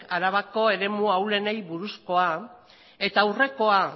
arabako eremu ahulenei buruzkoa eta aurrekoa